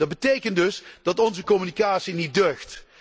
Dat betekent dus dat onze communicatie niet deugt.